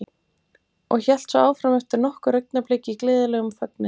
Og hélt svo áfram eftir nokkur augnablik í gleðilegum fögnuði